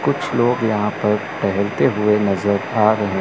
कुछ लोग यहां पर टहेलते हुए नजर आ रहे--